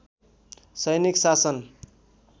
सैनिक शासन